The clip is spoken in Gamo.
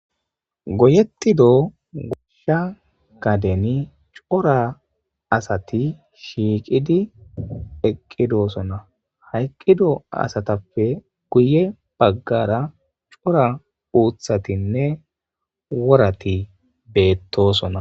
goyetido goshsha gadeni cora asati shiiqidi eqqidosona ha eqqido asatappe guye baggara cora uuthatinne worati beettosona